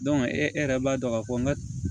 e yɛrɛ b'a dɔn ka fɔ n ka